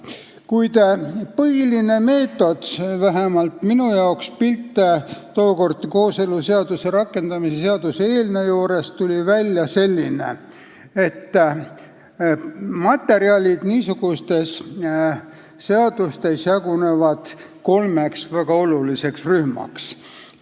Kuid vähemalt minu jaoks kujunes tookord, kooseluseaduse rakendamise seaduse eelnõu juures, välja selline pilt, et materjalid niisugustes seadustes jagunevad kolmeks väga oluliseks rühmaks.